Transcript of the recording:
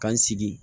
Ka n sigi